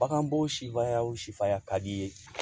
Baganbɔw sifaya wo sifuya ka d'i ye